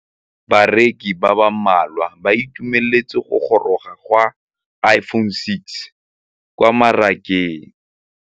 Bareki ba ba malwa ba ituemeletse go gôrôga ga Iphone6 kwa mmarakeng.